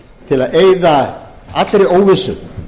til að eyða allri óvissu